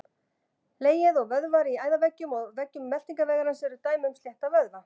Legið og vöðvar í æðaveggjum og veggjum meltingarvegarins eru dæmi um slétta vöðva.